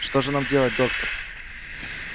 что же нам делать доктор